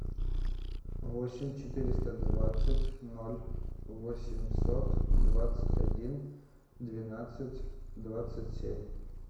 восемь четыреста двадцать ноль восемьсот двадцать один двенадцать двадцать семь